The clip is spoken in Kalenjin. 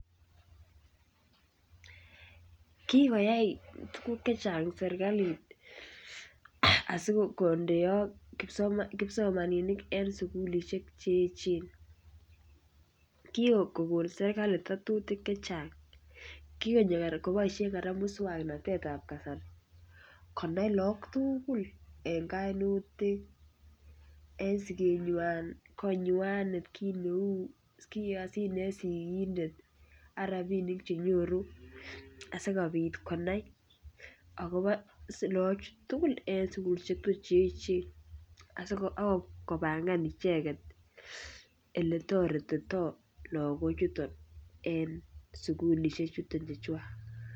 Kigoyai tuguk Che Chang serkalit asi kondeak kipsomaninik en sukulisiek Che echen kigon serkali tuguk Che Chang kogonyor koboisien kora moswoknatet ab kasari konai lagok tugul en kainutik en sigenywan konywan kit neu kasit ne yoe sigindet ak rabisiek Che nyoru asikobit konai agobo lagok tugul en sukulisiek Che echen ak kopangan icheget Ole toretito lagochuton en sukulisiek chuton Chechwak